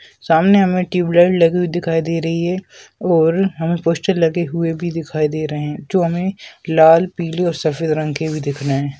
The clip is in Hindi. सामने हमें ट्यूबलाइट लगी हुयी दिखाई दे रही है और हमें पोस्टर लगे हुए भी दिखाई दे रहे है जो हमें लाल पीले और सफेद रंग के भी दिख रहे है।